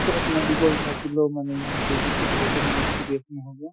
ওচৰত medical থাকিলেও মানুহে যেতিয়ালৈকে মানে serious নহব